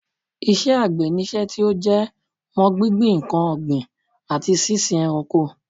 Iṣẹ́ àgbẹ̀ ni iṣẹ́ tí ó jẹ mọ́ gbíngbin nǹkan ọ̀gbìn, àti sísin ẹranko